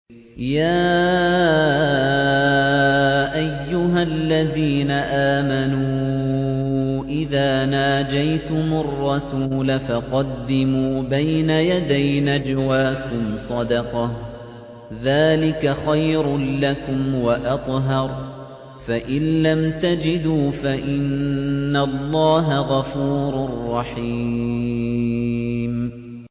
يَا أَيُّهَا الَّذِينَ آمَنُوا إِذَا نَاجَيْتُمُ الرَّسُولَ فَقَدِّمُوا بَيْنَ يَدَيْ نَجْوَاكُمْ صَدَقَةً ۚ ذَٰلِكَ خَيْرٌ لَّكُمْ وَأَطْهَرُ ۚ فَإِن لَّمْ تَجِدُوا فَإِنَّ اللَّهَ غَفُورٌ رَّحِيمٌ